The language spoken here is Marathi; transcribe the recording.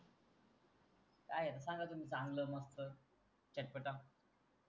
सांगा तुम्ही चांगल वांगल चटपटा.